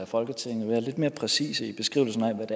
folketinget være lidt mere præcise i beskrivelsen af hvad